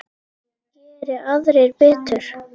Geri aðrir betur!